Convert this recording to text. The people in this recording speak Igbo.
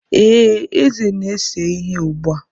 Ee, Eze na-ese ihe ugbu a.